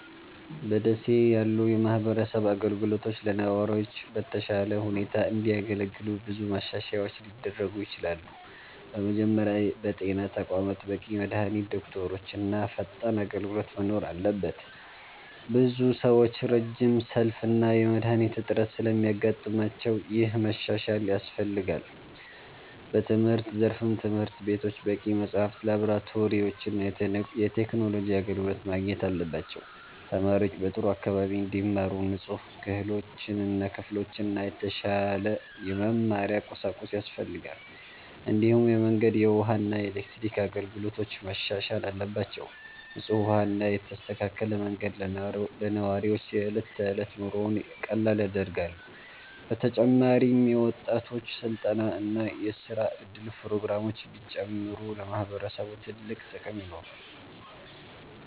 በ ደሴ ያሉ የማህበረሰብ አገልግሎቶች ለነዋሪዎች በተሻለ ሁኔታ እንዲያገለግሉ ብዙ ማሻሻያዎች ሊደረጉ ይችላሉ። በመጀመሪያ በጤና ተቋማት በቂ መድሃኒት፣ ዶክተሮች እና ፈጣን አገልግሎት መኖር አለበት። ብዙ ሰዎች ረጅም ሰልፍ እና የመድሃኒት እጥረት ስለሚያጋጥማቸው ይህ መሻሻል ያስፈልጋል። በትምህርት ዘርፍም ትምህርት ቤቶች በቂ መጽሐፍት፣ ላብራቶሪዎች እና የቴክኖሎጂ አገልግሎት ማግኘት አለባቸው። ተማሪዎች በጥሩ አካባቢ እንዲማሩ ንጹህ ክፍሎችና የተሻለ የመማሪያ ቁሳቁስ ያስፈልጋል። እንዲሁም የመንገድ፣ የውሃ እና የኤሌክትሪክ አገልግሎቶች መሻሻል አለባቸው። ንጹህ ውሃ እና የተስተካከለ መንገድ ለነዋሪዎች የዕለት ተዕለት ኑሮን ቀላል ያደርጋሉ። በተጨማሪም የወጣቶች ስልጠና እና የስራ እድል ፕሮግራሞች ቢጨምሩ ለማህበረሰቡ ትልቅ ጥቅም ይኖራል።